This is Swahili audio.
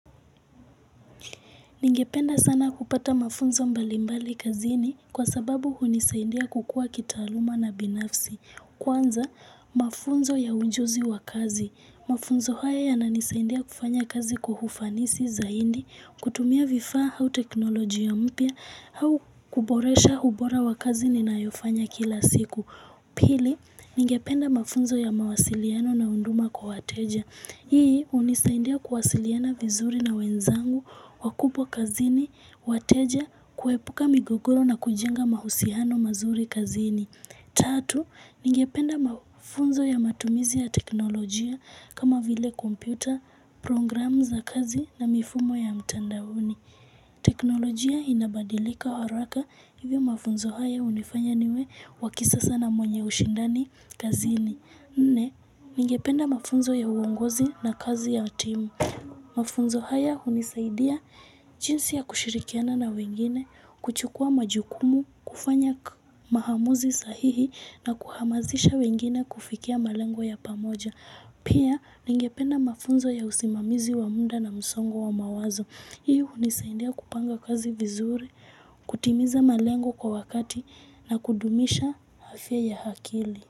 Ningependa sana kupata mafunzo mbalimbali kazini kwa sababu hunisaindia kukua kitaaluma na binafsi. Kwanza, mafunzo ya unjuzi wa kazi. Mafunzo haya yananisaindia kufanya kazi kwa ufanisi zaindi, kutumia vifa hau teknoloji ya mpia, hau kuboresha ubora wa kazi ninayofanya kila siku. Pili, ningependa mafunzo ya mawasiliano na unduma kwa wateja. Hii unisaindia kuwasiliana vizuri na wenzangu, wakupwa kazini, wateja, kuepuka migogoro na kujenga mahusihano mazuri kazini. Tatu, ningependa mafunzo ya matumizi ya teknolojia kama vile kompyuta, program za kazi na mifumo ya mtandaoni. Teknolojia inabadilika haraka hivyo mafunzo haya unifanya niwe wakisasa na mwenye ushindani kazini. Nne, ningependa mafunzo ya uongozi na kazi ya timu. Mafunzo haya unisaidia jinsi ya kushirikiana na wengine, kuchukua majukumu, kufanya mahamuzi sahihi na kuhamazisha wengine kufikia malengo ya pamoja. Pia, ningependa mafunzo ya usimamizi wa munda na msongo wa mawazo. Hii unisaidia kupanga kazi vizuri, kutimiza malengo kwa wakati na kudumisha hafya ya hakili.